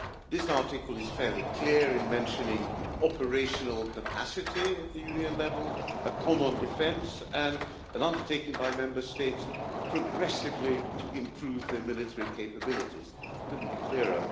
This article is fairly clear in mentioning operational capacity at the European level, common defence, and an undertaking by Member States progressively to improve their military capabilities. It could not be clearer.